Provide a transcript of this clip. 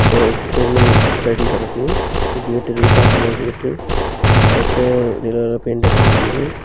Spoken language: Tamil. ஒரு தென்னம் தடி கெடக்கு கேட் காபி கலர் கேட்டு அடுத்த நீல கலர் பெயிண்ட் அடிச்சியிருக்குது.